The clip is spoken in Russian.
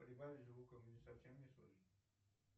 прибавь звука мне совсем не слышно